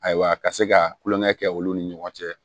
Ayiwa ka se ka kulon kɛ olu ni ɲɔgɔn cɛ